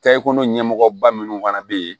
Kɛ ekɔli ɲɛmɔgɔ ba minnu fana bɛ yen